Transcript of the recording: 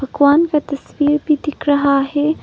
भगवान का तस्वीर भी दिख रहा है।